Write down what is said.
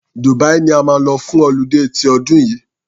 Dubia ni a máa lọ fún ọludé ti ọdún yìí.